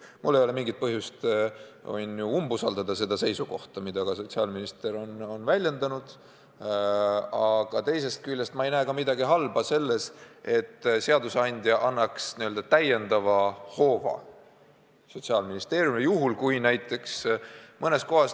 Kuigi mul ei ole selleks mingit põhjust, ma võin siiski umbusaldada seda seisukohta, mida ka sotsiaalminister on väljendanud, aga teisest küljest ma ei näe ka midagi halba selles, kui seadusandja annab Sotsiaalministeeriumile täiendava hoova.